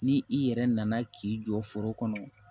Ni i yɛrɛ nana k'i jɔ foro kɔnɔ